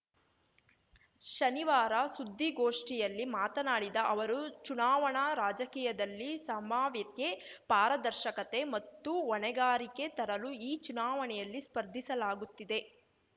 ಶನಿವಾರ ಸುದ್ದಿಗೋಷ್ಠಿಯಲ್ಲಿ ಮಾತನಾಡಿದ ಅವರು ಚುನಾವಣಾ ರಾಜಕೀಯದಲ್ಲಿ ಸಂಭಾವ್ಯತೆ ಪಾರದರ್ಶಕತೆ ಮತ್ತು ಹೊಣೆಗಾರಿಕೆ ತರಲು ಈ ಚುನಾವಣೆಯಲ್ಲಿ ಸ್ಪರ್ಧಿಸಲಾಗುತ್ತಿದೆ